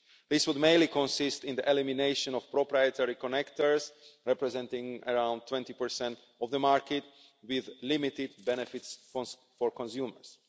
This would mainly consist in the elimination of proprietary connectors, representing around 20 of the market with limited benefits for consumers.